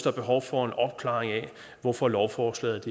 er behov for en opklaring af hvorfor lovforslaget